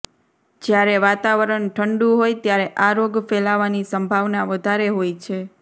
જ્યારે વાતાવરણ ઠંડું હોય ત્યારે આ રોગ ફેલાવાની સંભાવના વધારે હોય છે